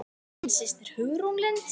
Þín systir Hugrún Lind.